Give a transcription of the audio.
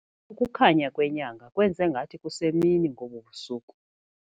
Ukukhanya kwenyanga kwenze ngathi kusemini ngobu busuku.